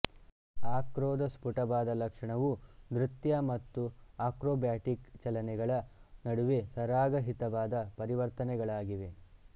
ಆಕ್ರೋದ ಸ್ಫುಟವಾದ ಲಕ್ಷಣವು ನೃತ್ಯ ಮತ್ತು ಆಕ್ರೋಬ್ಯಾಟಿಕ್ ಚಲನೆಗಳ ನಡುವೆ ಸರಾಗ ಹಿತವಾದ ಪರಿವರ್ತನೆಗಳಾಗಿವೆ